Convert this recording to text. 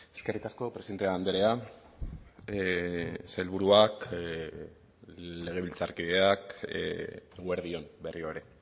eskerrik asko presidente andrea sailburuak legebiltzarkideak eguerdi on berriro ere